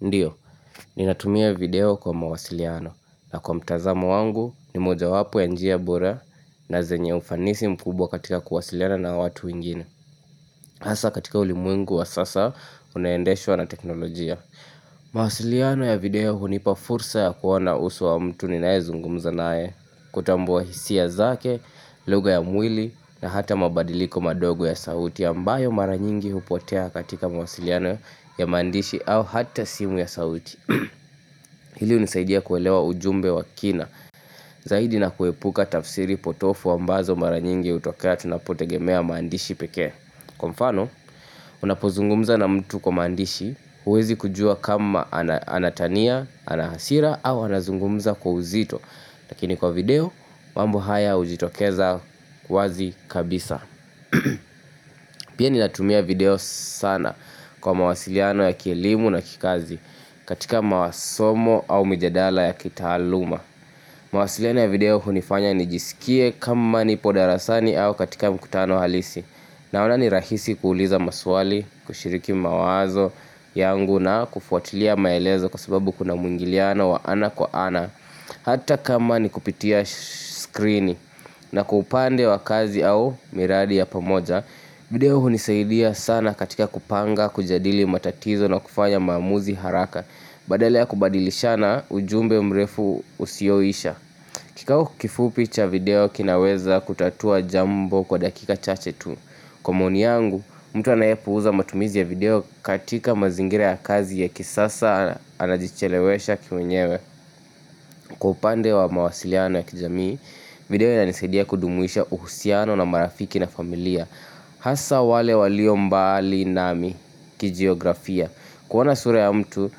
Ndio, ninatumia video kwa mawasiliano na kwa mtazamo wangu ni mojawapo ya njia bora na zenye ufanisi mkubwa katika kuwasiliana na watu wengine hasa katika ulimwengu wa sasa, unaendeshwa na teknolojia. Mawasiliano ya video hunipa fursa ya kuona uso wa mtu ninayezungumza naye, kutambua hisia zake, lugha ya mwili na hata mabadiliko madogo ya sauti ambayo mara nyingi hupotea katika mawasiliano ya maandishi au hata simu ya sauti. Hili hunisaidia kuelewa ujumbe wa kina zaidi na kuepuka tafsiri potovu ambazo mara nyingi hutokea tunapotegemea maandishi pekee. Kwa mfano, unapozungumza na mtu kwa maandishi huwezi kujua kama anatania, ana hasira au anazungumza kwa uzito. Lakini kwa video, mambo haya hujitokeza wazi kabisa. Pia ninatumia video sana kwa mawasiliano ya kielimu na kikazi katika masomo au mijadala ya kitaaluma mawasiliano ya video hunifanya nijisikie kama nipo darasani au katika mkutano halisi Naona ni rahisi kuuliza maswali, kushiriki mawazo yangu na kufuatilia maelezo kwa sababu kuna mwingiliano wa ana kwa ana Hata kama ni kupitia screeni na kwa upande wa kazi au miradi ya pamoja video hunisaidia sana katika kupanga, kujadili matatizo na kufanya maamuzi haraka Badala ya kubadilisha na ujumbe mrefu usioisha kikao kifupi cha video kinaweza kutatua jambo kwa dakika chache tu Kwa maoni yangu, mtu anayepuuza matumizi ya video katika mazingira ya kazi ya kisasa anajichelewesha kimwenyewe Kwa upande wa mawasilianonya kijamii video ya inisaidia kudumisha uhusiano na marafiki na familia Hasa wale walio mbali nami kijiografia kuona sura ya mtu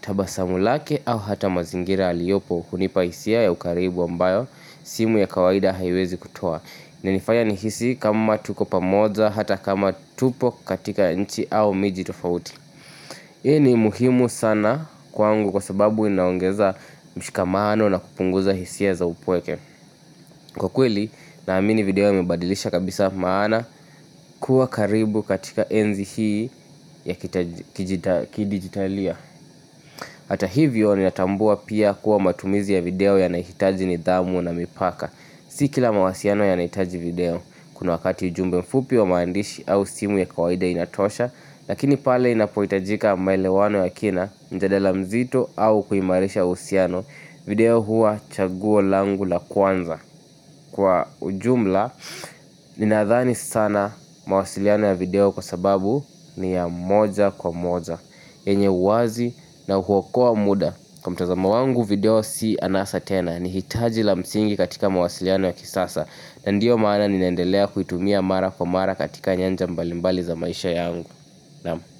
tabasamu lake au hata mazingira aliyopo hunipa hisia ya ukaribu ambayo simu ya kawaida haiwezi kutoa inanifanya nihisi kama tuko pamoja hata kama tupo katika nchi au miji tofauti Hii ni muhimu sana kwangu kwa sababu inaongeza mshikamano na kupunguza hisia za upweke Kwa kweli naamini video yamebadilisha kabisa maana kuwa karibu katika enzi hii ya kidigitalia Hata hivyo ninatambua pia kuwa matumizi ya video yanahitaji nidhamu na mipaka Si kila mawasiliano yanahitaji video kuna wakati ujumbe mfupi wa maandishi au simu ya kawaida inatosha Lakini pale inapohitajika maelewano ya kina, mjadala mzito au kuimarisha uhusiano video huwa chaguo langu la kwanza Kwa ujumla, ninadhani sana mawasiliano ya video kwa sababu ni ya moja kwa moja yenye uwazi na huokoa muda Kwa mtazamo wangu video si anasa tena, ni hitaji la msingi katika mawasiliano ya kisasa na ndiyo maana nimeendelea kuitumia mara kwa mara katika nyanja mbalimbali za maisha yangu Naam.